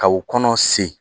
Ka u kɔnɔ sen